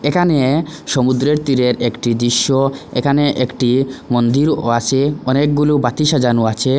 এখানে সমুদ্রের তীরের একটি দৃশ্য এখানে একটি মন্দিরও আছে অনেকগুলো বাতি সাজানো আছে।